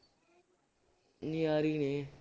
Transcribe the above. ਨਜ਼ਾਰੇ ਹੀ ਨੇ